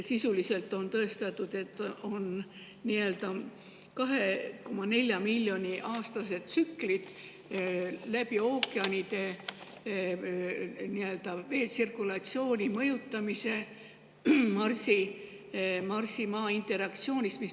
Sisuliselt on tõestatud, et on 2,4 miljoni aastased tsüklid ookeanide vee tsirkulatsiooni mõjutamisel Marsi ja Maa interaktsiooni tõttu.